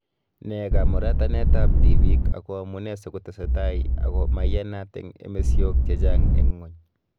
Ne kamuratanet ab tibiik ako amune si kotesetai ako maiyanat eng emesyok chechaang eng ngwony